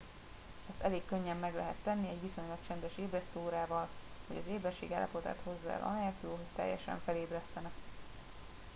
ezt elég könnyen meg lehet tenni egy viszonylag csendes ébresztőórával hogy az éberség állapotát hozza el anélkül hogy teljesen felébresztene